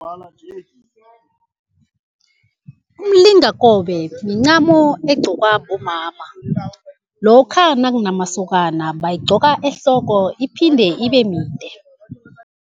Umlingakobe mincamo egqokwa bomama lokha nakunamasokana, bayigqoka ehloko iphinde ibemide.